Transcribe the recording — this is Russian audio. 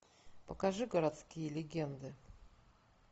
покажи городские легенды